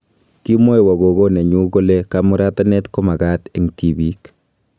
Kimwoiwo gogo nenyu kole kamuratanet komagaat eng tibiik